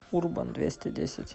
урбандвестидесять